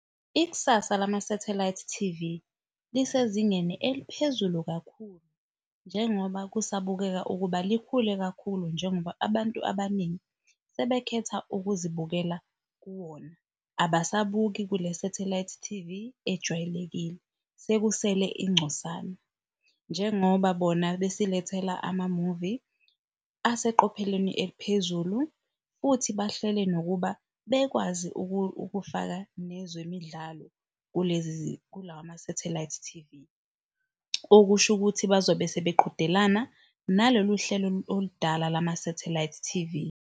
Ikusasa lama-satellite T_V lisezingeni eliphezulu kakhulu njengoba kusabukeka ukuba likhule kakhulu njengoba abantu abaningi sebekhetha ukuzibukela kuwona abasabuki. kule-satellite T_V ejwayelekile sekusele ingcosana, njengoba bona besilethela amamuvi aseqopheleni eliphezulu futhi bahlele nokuba bekwazi ukufaka nezemidlalo kuwa ma-satellite T_V. Okusho ukuthi bazobe sebe qhudelana naloluhlelo oludala lama-satellite T_V.